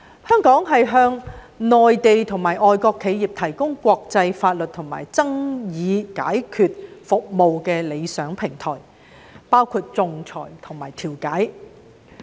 香港是向內地和外國企業提供國際法律及爭議解決服務的理想平台，包括仲裁和調解。